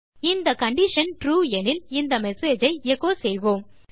இந்த condition true எனில் இந்த மெசேஜ் ஐ எச்சோ செய்வோம்